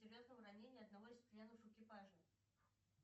ранение одного из членов экипажа